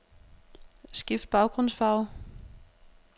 Skift baggrundsfarve.